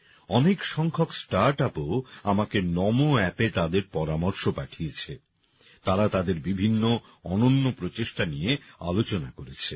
অনেক সংখ্যক স্টার্টআপও আমাকে নমো অ্যাপে তাদের পরামর্শ পাঠিয়েছে তারা তাদের বিভিন্ন অনন্য প্রচেষ্টা নিয়ে আলোচনা করেছে